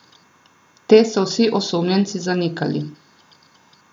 Te so vsi osumljenci zanikali.